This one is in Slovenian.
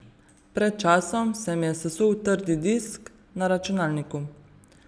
Pred časom se mi je sesul trdi disk na računalniku.